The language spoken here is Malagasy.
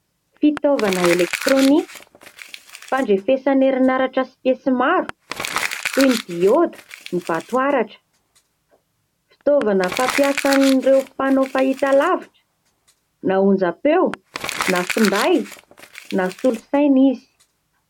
Fitaovana elektrônika fandrefesana herin'aratra sy piesy maro toy ny dioda, ny vatoaratra. Ftiaovana fampiasan'ireo mpanao fahitalavitra na onjampeo na finday na solosaina izy.